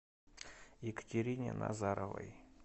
екатерине назаровой